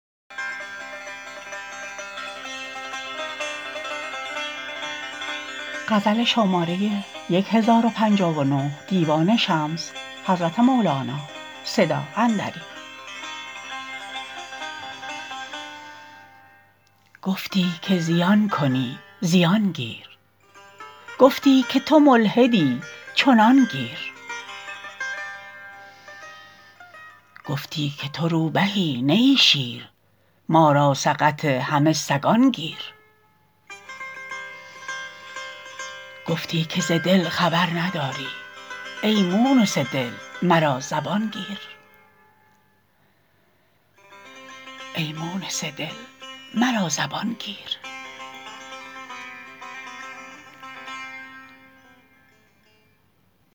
گفتی که زیان کنی زیان گیر گفتی که تو ملحدی چنان گیر گفتی که تو روبهی نه ای شیر ما را سقط همه سگان گیر گفتی که ز دل خبر نداری ای مونس دل مرا زبان گیر